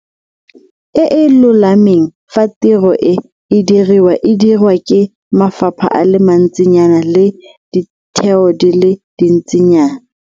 E e lolameng fa tiro e e diriwang e dirwa ke mafapha a le mantsinyana le ditheo di le dintsinyana.